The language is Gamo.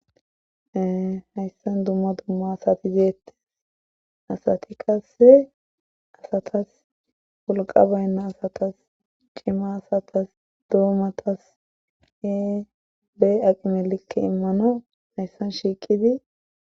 Hayssan dumma dumma asatizeette asati kasse asatas wulqa baynna asatas cima asatas doomatas ee bee aqimelikke immano hayssan shiiqidi..